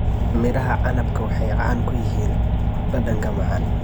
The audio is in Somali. Midhaha canabka waxay caan ku yihiin dhadhanka macaan.